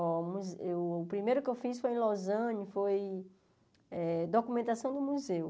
Fomos eu o primeiro que eu fiz foi em Los Angeles, foi eh documentação do museu.